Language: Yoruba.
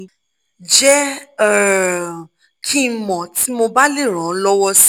jẹ́ um kí n mọ̀ tí mo bá lè ràn ọ́ lọ́wọ́ si